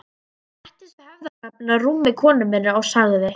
Ég settist við höfðagaflinn á rúmi konu minnar og sagði